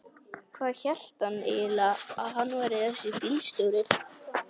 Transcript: Hvað hélt hann eiginlega að hann væri þessi bílstjóri.